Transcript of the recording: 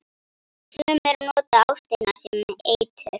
Sumir nota ástina sem eitur.